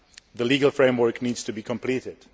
The legal framework needs to be completed.